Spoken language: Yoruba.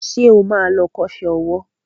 Ṣé o ma lọ kọ́ṣẹ́ owó?